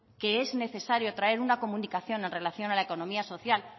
que es necesario traer una comunicación en relación a la economía social